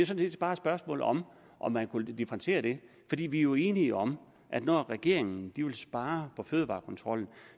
set bare et spørgsmål om om at differentiere det vi er jo enige om at når regeringen vil spare på fødevarekontrollen